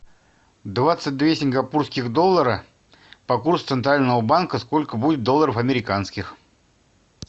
двадцать две сингапурских доллара по курсу центрального банка сколько будет долларов американских